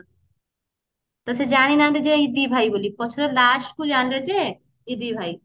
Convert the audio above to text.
ତ ସେ ଜାଣି ନାହାନ୍ତି ଯେ ଏ ଦି ଭାଇ ବୋଲି ପଛରେ last କୁ ଜାଣିଲେ ଯେ ଏ ଦି ଭାଇ ବୋଲି